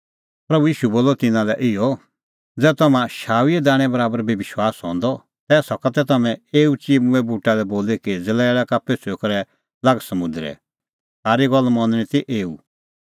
प्रभू ईशू बोलअ तिन्नां लै इहअ ज़ै तम्हां शाऊईए दाणैं बराबर बी विश्वास हंदअ तै सका तै तम्हैं एऊ चिम्मूंए बूटा लै बोली कि ज़लैल़ै का पेछ़ुई करै लाग समुंदरै थारी गल्ल मनणी ती एऊ